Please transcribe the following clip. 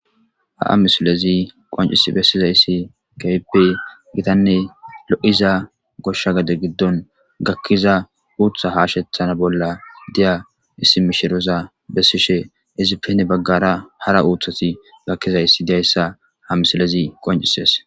Ha'a misilezi qoncis bessizayssi kaipey gitanne lo'iza goshsha gade giddon gakkiza uutha haashethana bolla deya issi mishiroza bessishe izippene baggara hara uuthati gakkizayssi dayssa ha misilezi qoncises.